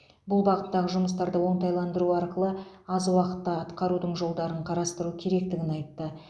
бұл бағыттағы жұмыстарды оңтайландыру арқылы аз уақытта атқарудың жолдарын қарастыру керектігін айтты